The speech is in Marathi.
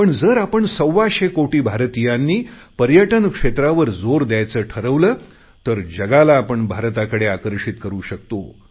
पण जर आपण सव्वाशे कोटी भारतीयांनी पर्यटन क्षेत्रावर जोर दयायचे ठरवले तर जगाला आपण भारताकडे आकर्षित करु शकतो